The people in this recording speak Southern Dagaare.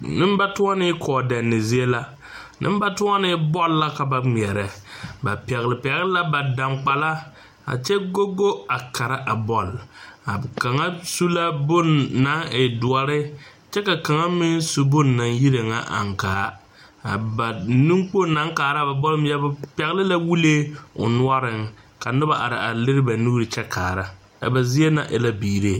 Nembatɔnne kɔɔdɛnne zie la, nembatɔnne bɔl la ka ba ŋmɛre, ba pɛgele pɛgele la ba daŋkpala a kyɛ go go a Kara a bɔl, a kaŋa su la bon naŋ e dɔre, kyɛ ka kaŋa meŋ su bon naŋ yiree ŋa ankaa a ba nenkpoŋ na kaara ba bɔl ŋmeɛbo pɛgele la wulee o noɔreŋ ka noba are a leri ba nuuri a kyɛ kaara, a ba zie na e la biiree.